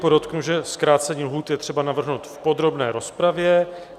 Podotknu, že zkrácení lhůt je třeba navrhnout v podrobné rozpravě.